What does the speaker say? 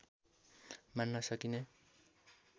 मान्न सकिने